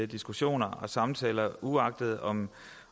diskussioner og samtaler uanset om